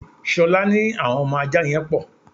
Ṣolá ní àwọn ọmọ ajá yẹn pò.